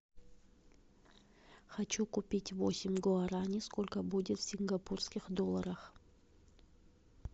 хочу купить восемь гуарани сколько будет в сингапурских долларах